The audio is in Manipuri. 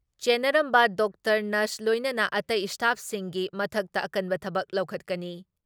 ꯆꯦꯟꯅꯔꯝꯕ ꯗꯣꯛꯇꯔ, ꯅꯔꯁ ꯂꯣꯏꯅꯅ ꯑꯇꯩ ꯏꯁꯇꯥꯐꯁꯤꯡꯒꯤ ꯃꯊꯛꯇ ꯑꯀꯟꯕ ꯊꯕꯛ ꯂꯧꯈꯠꯀꯅꯤ ꯫